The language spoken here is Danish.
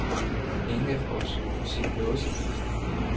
Ingen af os kunne se noget som helst.